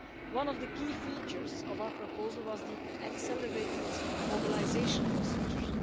One of the key features of our proposal was the accelerated mobilisation procedures.